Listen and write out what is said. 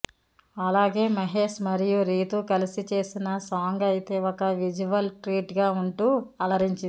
అలాగే మహేష్ మరియు రీతూ కలిసి చేసిన సాంగ్ అయితే ఒక విజువల్ ట్రీట్ గా వుంటూ అలరించింది